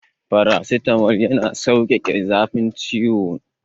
Farasitamol yana saukake zafin ciwo.